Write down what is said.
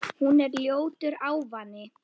Hún er ljótur ávani.